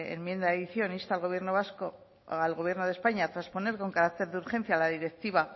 enmienda de adición insta al gobierno de españa a trasponer con carácter de urgencia la